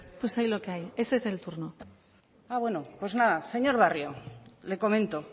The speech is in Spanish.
pues hay lo que hay ese es el turno ah bueno pues nada señor barrio le comento